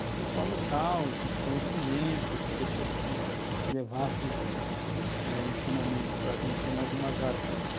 discussão local, de conhecimento, de pessoas que levassem eh ensinamento para a gente em algumas áreas.